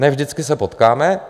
Ne vždycky se potkáme.